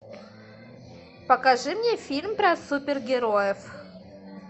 покажи мне фильм про супер героев